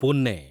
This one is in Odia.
ପୁନେ